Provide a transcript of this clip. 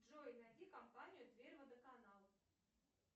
джой найди компанию тверь водоканал